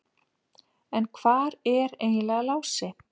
En hvar er eiginlega Lási?